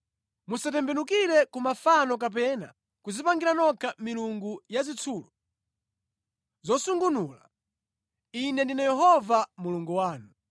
“ ‘Musatembenukire ku mafano kapena kudzipangira nokha milungu ya zitsulo zosungunula. Ine ndine Yehova Mulungu wanu.